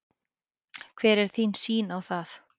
Hver er þín sýn á það?